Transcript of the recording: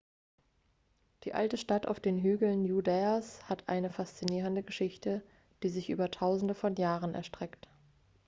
die alte stadt auf den hügeln judäas hat eine faszinierende geschichte die sich über tausende von jahren erstreckt